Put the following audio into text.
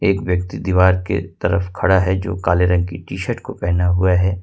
एक व्यक्ति दीवार के तरफ खड़ा है जो काले रंग की टी शर्ट को पहना हुआ है।